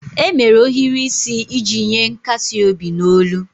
E mere ohiri isi iji nye nkasi obi n'olu